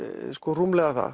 rúmlega það